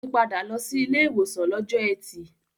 Ó ti padà lọ sí ilé ìwòsàn lọ́jọ́ ẹtì.